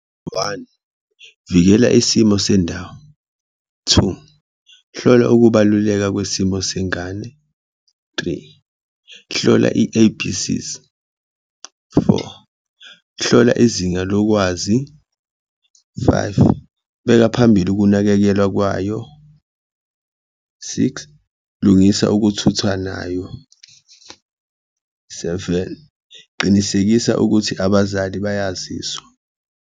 One, vikela isimo sendawo, two, hlola ukubaluleka kwesimo sengane, three, hlola i-A_B_C's, four, hlola izinga lokwazi, five, beka phambili ukunakekelwa kwayo, six, lungisa ukuthuthwa nayo, seven, qinisekisa ukuthi abazali bayaziswa.